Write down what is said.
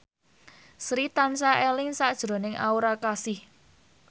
Sri tansah eling sakjroning Aura Kasih